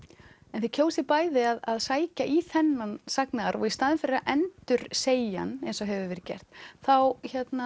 en þið kjósið bæði að sækja í þennan sagnaarf og í staðinn fyrir að endursegja hann eins og hefur verið gert þá